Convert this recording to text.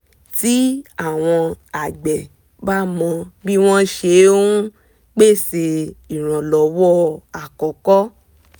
tí àwọn àgbẹ̀ bá mọ bí wọ́n ṣe ń pèsè ìrànlọ́wọ́ àkọ́kọ́